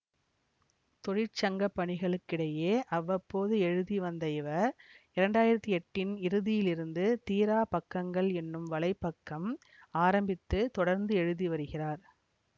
தொழிற்சங்கப்பணிகளுக்கிடையே அவ்வப்போது எழுதி வந்த இவர் இரண்டாயிரத்தி எட்டின் இறுதியிலிருந்து தீரா பக்கங்கள் என்னும் வலைப்பக்கம் ஆரம்பித்து தொடர்ந்து எழுதி வருகிறார்